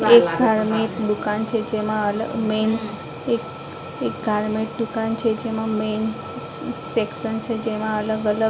એક ગાર્મેન્ટ દુકાન છે જેમાં મેન એક ગાર્મેન્ટ દુકાન છે જેમાં મેન સેક્શન છે જેમાં અલગ --